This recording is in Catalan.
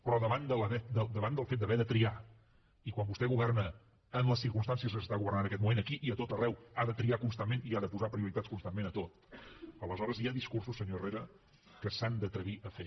però davant del fet d’haver de triar i quan vostè governa en les circumstàncies que s’està governant en aquest moment aquí i a tot arreu ha de triar constantment i ha de posar prioritats constantment a tot aleshores hi ha discursos senyor herrera que s’han d’atrevir a fer